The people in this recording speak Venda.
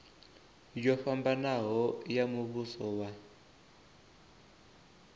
yo fhambanaho ya muvhuso wa